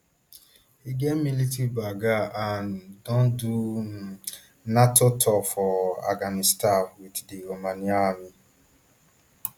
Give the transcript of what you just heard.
e get military background and don do nato tours for afghanistan wit di romanian army